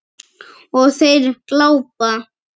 Og þeir glápa.